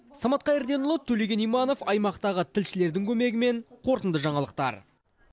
самат қайырденұлы төлеген иманов аймақтағы тілшілердің көмегімен қорытынды жаңалықтар